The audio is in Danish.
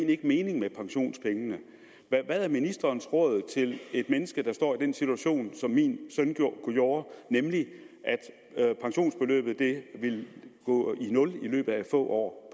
ikke meningen med pensionspengene hvad er ministerens råd til et menneske der står i den situation som min søn gjorde nemlig at pensionsbeløbet ville gå i nul i løbet af få år